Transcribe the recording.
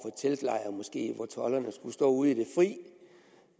teltlejr måske hvor tolderne skulle stå ude i det fri